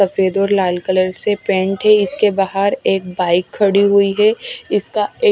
सफेद और लाल कलर से पेंट है इसके बाहर एक बाइक खड़ी हुई है इसका--